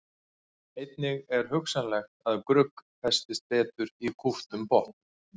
Einnig er hugsanlegt að grugg festist betur í kúptum botni.